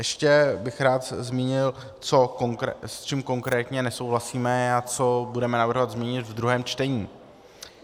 Ještě bych rád zmínil, s čím konkrétně nesouhlasíme a co budeme navrhovat změnit ve druhém čtení.